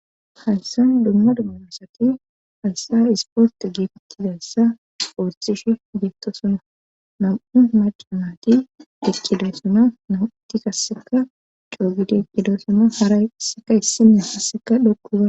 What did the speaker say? haysan dumma dummuosati hayssa isporte geefettidayssa poortishe geetto suna mam7u macamati dekkida suna nauuti kasseka coogidikkidosama hara sseka issinne hasseka dhokkuba